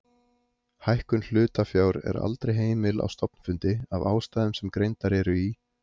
Lækkun hlutafjár er aldrei heimil á stofnfundi af ástæðum sem greindar eru í